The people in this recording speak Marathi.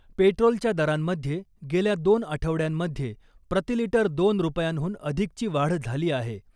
पेट्रोलच्या दरांमध्ये गेल्या दोन आठवड्यांमध्ये प्रतिलिटर दोन रुपयांहून अधिकची वाढ झाली आहे .